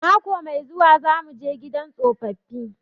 Mako mai zuwa za muje gidan tsofaffi